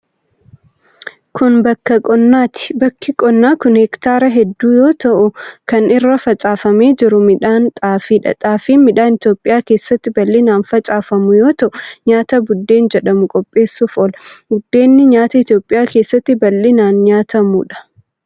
Kun, bakka qonnaati. Bakki qonnaa kun, heektaara hedduu yoo ta'u, kan irra facaafamee jiru midhaan xaafi dha. Xaafin midhaan Itoophiyaa keessatti bal'inaan facaafamu yoo ta'u, nyaata buddeen jedhamu qopheessuuf oola. Buddeenni nyaata Itoophiyaa keessatti bal'inaan nyaatamuu dha.